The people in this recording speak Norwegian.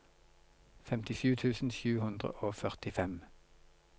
femtisju tusen sju hundre og førtifem